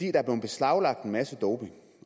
er blevet beslaglagt en masse doping